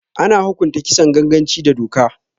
Ana hukunta Kisan ganganci da doka